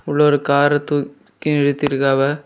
உள்ள ஒரு கார தூக்கி நிருத்திருக்காவ.